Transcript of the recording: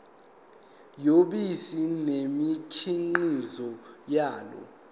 yobisi nemikhiqizo yalo